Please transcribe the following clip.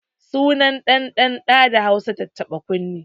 Sunan ɗan ɗan ɗa da Hausa tattaɓa kunne